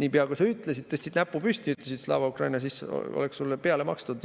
niipea kui sa tõstsid näpu püsti ja ütlesid Slava Ukraini, siis oleks sulle peale makstud.